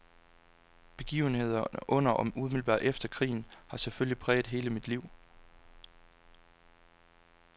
Begivenhederne under og umiddelbart efter krigen har selvfølgelig præget hele mit liv.